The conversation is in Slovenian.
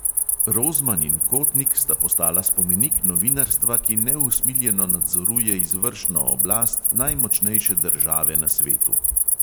Rozman in kotnik sta postala spomenik novinarstva, ki neusmiljeno nadzoruje izvršno oblast najmočnejše države na svetu.